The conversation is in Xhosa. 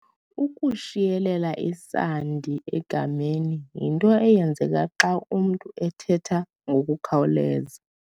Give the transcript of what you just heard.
Ukushiyelela isandi egameni yinto eyenzeka xa umntu ethetha ngokukhawuleza.